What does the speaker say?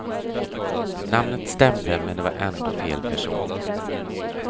Namnet stämde men det var ändå fel person.